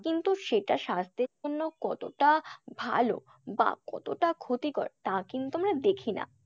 কিন্তু সেটা স্বাস্থ্যের জন্য কতটা ভালো বা কতটা ক্ষতিকর তা কিন্তু আমরা দেখি না।